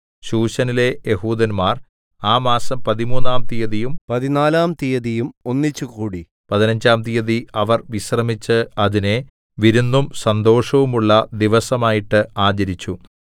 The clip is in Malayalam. ശൂശനിലെ യെഹൂദന്മാർ ആ മാസം പതിമൂന്നാം തീയതിയും പതിനാലാം തീയതിയും ഒന്നിച്ചുകൂടി പതിനഞ്ചാം തീയതി അവർ വിശ്രമിച്ച് അതിനെ വിരുന്നും സന്തോഷവുമുള്ള ദിവസമായിട്ടു ആചരിച്ചു